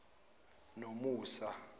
nomusa